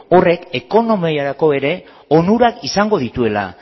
horrek ekonomiarako ere onurak izango dituela